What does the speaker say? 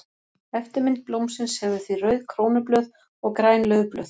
Eftirmynd blómsins hefur því rauð krónublöð og græn laufblöð.